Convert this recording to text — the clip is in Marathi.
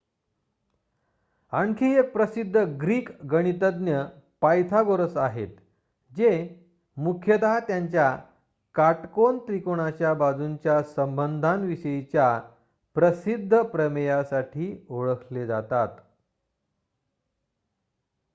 आणखी एक प्रसिद्ध ग्रीक गणितज्ञ पायथागोरस आहेत जे मुख्यतः त्यांच्या काटकोन त्रिकोणाच्या बाजूंच्या संबंधांविषयीच्या प्रसिद्ध प्रमेयासाठी ओळखले जातात